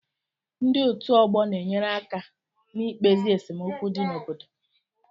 Ndị otu ọgbọ na-enyere aka n'ikpezi esemokwu dị n'obodo